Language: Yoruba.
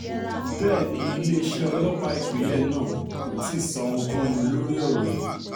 bẹ́ẹ̀ ni iléeṣẹ́ ọlọ́pàá ìpínlẹ̀ náà kò tí ì sọ ohunkóhun lórí ọ̀rọ̀ yìí